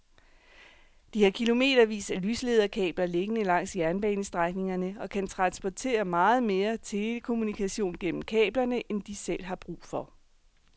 De har kilometervis af lyslederkabler liggende langs jernbanestrækningerne og kan transportere meget mere telekommunikation gennem kablerne end de selv har brug for.